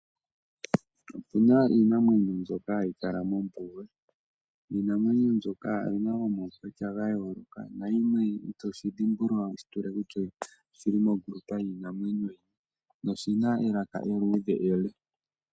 Otuna iinamwenyo ndyoka hayi kala mombuga. Iinamwenyo ndyoka oyina omaukwatya gayooloka nayimwe itoshi dhimbulula kutya oshili mo ngundu yini yiinamwenyo. Oshina elaka eluudhe ele.